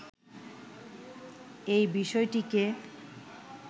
এ বিষয়টিকে